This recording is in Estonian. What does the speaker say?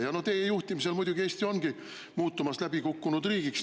Ja teie juhtimisel muidugi Eesti ongi muutumas läbikukkunud riigiks.